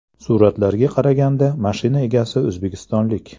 Suratlarga qaraganda, mashina egasi o‘zbekistonlik.